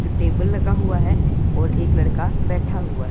table लगा हुआ है और एक लड़का बैठा हुआ--